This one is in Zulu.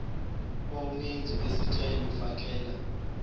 omenzi wesicelo fakela